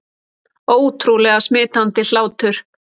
Ótrúlega smitandi hlátur